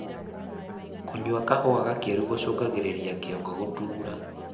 kũnyua kahua gakiru gucungagiririra kĩongo gutuura